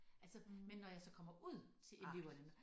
Altså men når jeg så kommer ud til eleverne